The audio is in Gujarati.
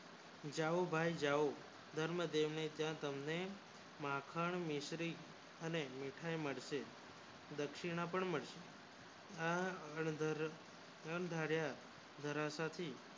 જાવ ભાઈ જાવ ધર્મ દેવ ને આંગણે માખણ મિસરી અને મીઠાઈ મળશે દક્ષિનાં પણ મળશે દક્સિણા પણ મળશે